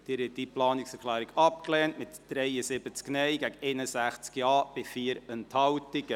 Sie haben diese Planungserklärung abgelehnt, mit 73 Nein- gegen 61 Ja-Stimmen bei 4 Enthaltungen.